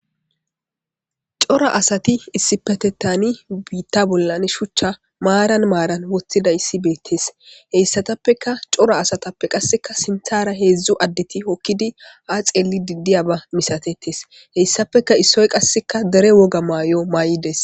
Cora asati issipetetani biitta bollan shuchcha maaran maaran woththida issi beettes heyssatappeka cora asatappe qasseka sinthara heedzdzu addeti hokkidi a xeeli didiya ba misatetes heyssappeka issoy qasseka dere woga maay7o maa7ides.